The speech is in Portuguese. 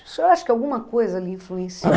O senhor acha que alguma coisa lhe influenciou?